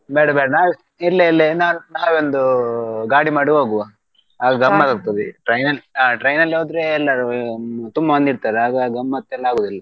ಬೇಡ ಬೇಡ ನಾವೆ ಇಲ್ಲೆ ಇಲ್ಲೆ ನಾವ್~ ನಾವೆ ಒಂದು ಗಾಡಿ ಮಾಡಿ ಹೋಗುವಾ ಆಗ್ ಆಗ್ತಾದೆ train ಆ train ಅಲ್ಲಿ ಹೋದ್ರೆ ತುಂಬಾ ಮಂದಿ ಇರ್ತಾರೆ ಆಗ ಗಮ್ಮತ್ ಎಲ್ಲಾ ಆಗೋದಿಲ್.